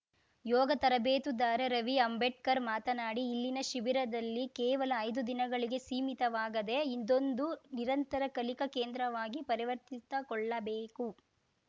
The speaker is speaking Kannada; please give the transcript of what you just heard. ಯೋಗ ತರಬೇತುದಾರ ರವಿ ಅಂಬೇಡ್ಕರ್‌ ಮಾತನಾಡಿ ಇಲ್ಲಿನ ಶಿಬಿರದಲ್ಲಿ ಕೇವಲ ಐದು ದಿನಗಳಿಗೆ ಸೀಮಿತವಾಗದೆ ಇದೊಂದು ನಿರಂತರ ಕಲಿಕಾ ಕೇಂದ್ರವಾಗಿ ಪರಿವರ್ತಿತಗೊಳ್ಳಬೇಕು